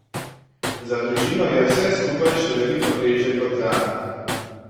Za družino je vse skupaj še veliko težje kot zanj.